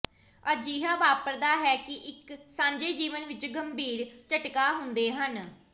ਅਜਿਹਾ ਵਾਪਰਦਾ ਹੈ ਕਿ ਇੱਕ ਸਾਂਝੇ ਜੀਵਨ ਵਿੱਚ ਗੰਭੀਰ ਝਟਕਾ ਹੁੰਦੇ ਹਨ